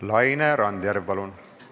Laine Randjärv, palun!